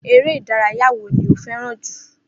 Eré ìdárayá wo ni o fé̩ràn jù?